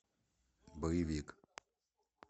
боевик